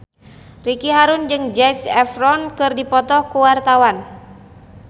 Ricky Harun jeung Zac Efron keur dipoto ku wartawan